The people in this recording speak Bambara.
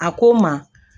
A ko n ma